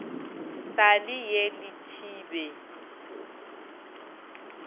sa le ye le thibe